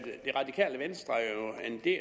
det